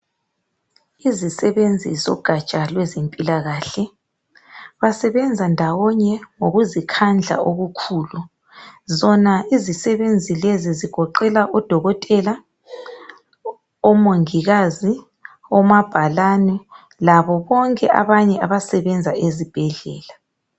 Izisebenzi logatsha lwezempilakahle basebenza ndawonye ngokukhandla okukhulu zona izisebenzi lezi zigoqela udokotela, omongikazi omabhalane labo bonke abantu abasebenza ezibhedlela.